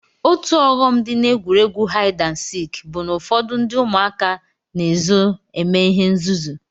Otu ọghọm m dị n'egwuregwu haịd and sik bụ na ụfọdụ ụmụaka na-ezo eme ihe nzuzu